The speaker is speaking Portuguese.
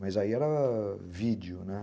Mas aí era vídeo, né?